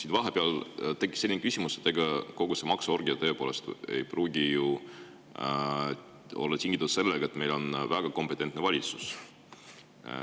Mul vahepeal tekkis selline, et ega kogu see maksuorgia tõepoolest ei pruugi olla tingitud sellest, et meil on väga kompetentne valitsus.